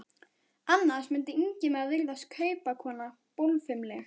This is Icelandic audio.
Annars mundi Ingimari virðast kaupakonan bólfimleg.